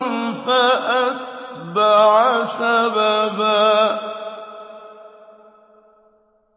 فَأَتْبَعَ سَبَبًا